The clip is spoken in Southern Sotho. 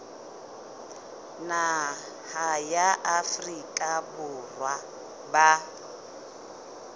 naha ya afrika borwa ba